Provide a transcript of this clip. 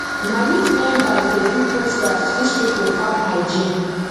na youth members dey do posters to teach people farm hygiene